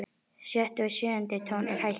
Sjötti og sjöundi tónn er hækkaður.